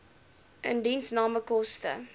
indiensname koste